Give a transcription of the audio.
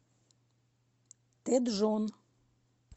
тэджон